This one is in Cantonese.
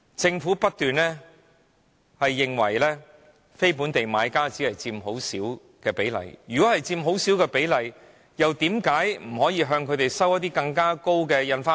政府不斷表示非本地買家只佔很小比例，但如果他們只佔很小比例，為甚麼不可以向他們徵收更高的印花稅？